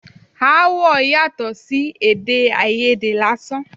Aáwọ̀ yàtọ̀ sí èdè àìyedè lásán.